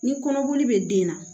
Ni kɔnɔboli bɛ den na